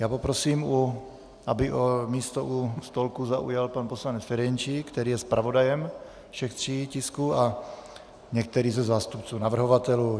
Já poprosím, aby místo u stolku zaujal pan poslanec Ferjenčík, který je zpravodajem všech tří tisků, a některý ze zástupců navrhovatelů.